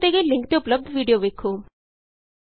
ਨੀਚੇ ਦਿਤੇ ਗਏ ਲਿੰਕ ਤੇ ਉਪਲੱਭਦ ਵੀਡੀਉ ਵੇਖੋ